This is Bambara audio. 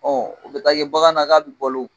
Ɔ o be taa kɛ bagan na k'a be bolo